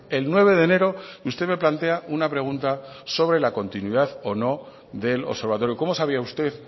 el nueve de enero usted me plantea una pregunta sobre la continuidad o no del observatorio cómo sabía usted